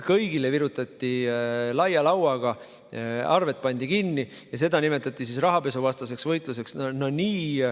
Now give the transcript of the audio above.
Kõigile virutati laia lauaga, arved pandi kinni ja seda nimetati rahapesuvastaseks võitluseks.